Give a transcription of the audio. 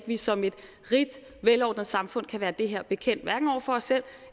vi som et rigt velordnet samfund kan være det her bekendt hverken over for os selv